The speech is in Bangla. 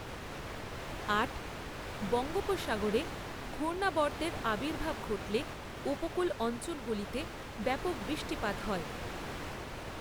আট। বঙ্গোপসাগরে ঘূর্ণাবর্তের আবির্ভাব ঘটলে উপকূল অঞলগুলিতে ব্যাপক বৃষ্টিপাত হয়।